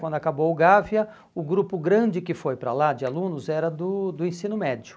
Quando acabou o Gávea, o grupo grande que foi para lá de alunos era do do ensino médio.